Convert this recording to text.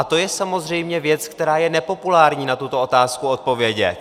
A to je samozřejmě věc, kdy je nepopulární na tuto otázku odpovědět.